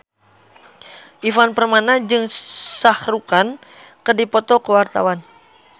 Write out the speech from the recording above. Ivan Permana jeung Shah Rukh Khan keur dipoto ku wartawan